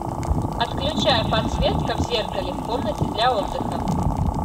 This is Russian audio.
отключай подсветка в зеркале в комнате для отдыха